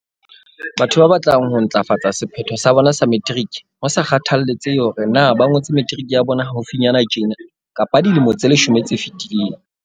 Batho ba batlang ho ntlafatsa sephetho sa bona sa materiki, ho sa kgathaletsehe hore na ba ngotse materiki ya bona haufinyana tjena kapa dilemo tse leshome tse fetileng.